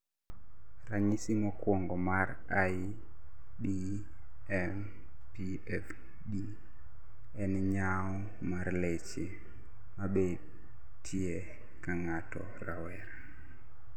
ranyisi mokuongo mar IBMPFD en nyawo mar leche mabetie kangato rawera